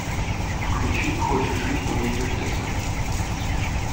включи хочешь жить умей вертеться